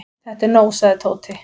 Þetta er nóg sagði Tóti.